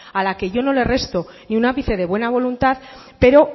a la que yo no le resto ni un ápice de buena voluntad pero